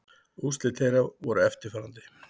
Úrslit þeirra voru eftirfarandi